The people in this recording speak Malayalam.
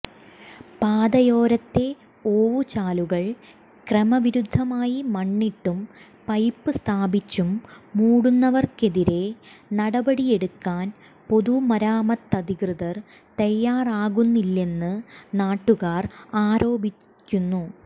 പാതയോരത്തെ ഓവുചാലുകൾ ക്രമവിരുദ്ധമായി മണ്ണിട്ടും പൈപ്പ് സ്ഥാപിച്ചും മൂടുന്നവർക്കെതിരേ നടപടിയെടുക്കാൻ പൊതുമരാമത്തധികൃതർ തയ്യാറാകുന്നില്ലെന്ന് നാട്ടുകാർ ആരോപിക്കുന്നു